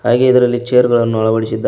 ಹಾಗೆ ಇದರಲ್ಲಿ ಚೇರ್ ಗಳನ್ನು ಅಳವಡಿಸಿದ್ದಾ--